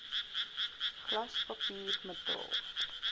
glas papier metaal